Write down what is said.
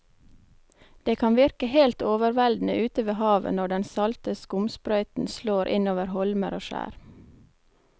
Det kan virke helt overveldende ute ved havet når den salte skumsprøyten slår innover holmer og skjær.